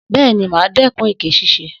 Bẹ́ẹ̀ni, màá dẹ́kun èké ṣíṣe